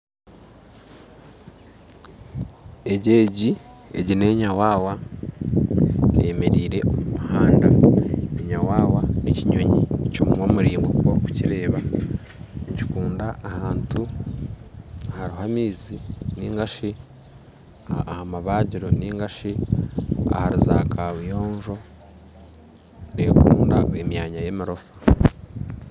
Egi nenyawawa eyemereire omu muhanda, enyawawa nekinyonyi kyomunwa muraingwa nkoku orukukireba nikikunda ahantu ahariho amaizi ningashi ahamabagiro ningashi ahari zakabuyonjo nekunda emyanya y'emirofa.